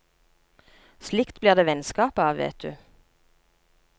Slikt blir det vennskap av, vet du.